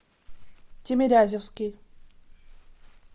тимирязевский